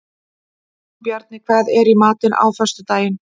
Jónbjarni, hvað er í matinn á föstudaginn?